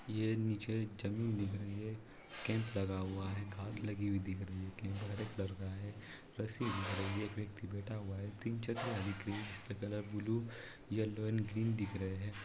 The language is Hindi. ये नीचे जमीन दिख रही है कैम्प लगा हुआ है घाँस लगी हुई दिख रही है कैम्प हरे कलर का है रस्सि दिख रही है एक व्यक्ति बैठा हुआ है तीन चक्र colour blue yellow and green दिख रहे हैं।